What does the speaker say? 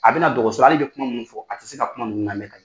A bɛ na dɔgɔso la hali bɛ kuma minnu fɔ a tɛ se ka kuma ninnu lamɛn ka ɲɛ.